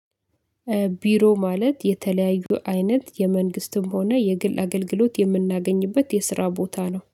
ቢሮ ማለት የተለያዩ አይነት የመንግስትም ሆነ የግል አገልግሎት የምናገኝበት የስራ ቦታ ነው።